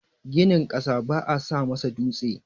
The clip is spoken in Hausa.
Ginin ƙasa baa sa masa dutse.